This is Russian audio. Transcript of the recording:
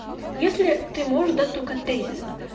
если ты можешь да только тезисно